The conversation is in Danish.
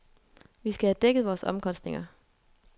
Vi skal have dækket vores omkostninger.